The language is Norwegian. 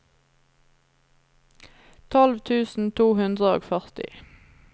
tolv tusen to hundre og førti